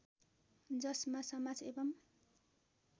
जसमा समाज एवं